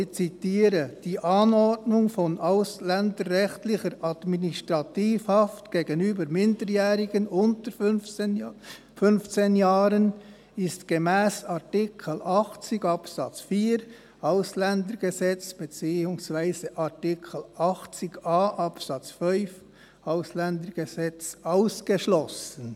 Ich zitiere: «Die Anordnung von ausländerrechtlicher Administrativhaft gegenüber Minderjährigen unter 15 Jahren ist gemäss Artikel 80 Absatz 4 AuG bzw. Artikel 80a Absatz 5 AuG ausgeschlossen.»